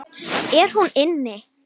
Er hún inni?